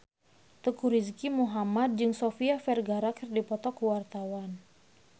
Teuku Rizky Muhammad jeung Sofia Vergara keur dipoto ku wartawan